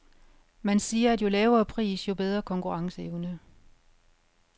Man siger, at jo lavere pris, jo bedre konkurrenceevne.